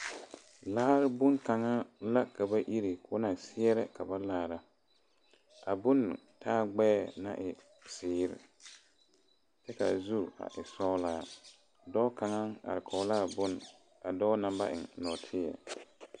Laare boŋ kaŋa la ka ba iri ko na seɛrɛ ka ba laara a bon taa gbeɛ naŋ e ziiri kyɛ kaa zu a e sɔglaa dɔɔ kaŋa are kɔŋ la a boŋ a dɔɔ na ba eŋ nɔɔteɛ.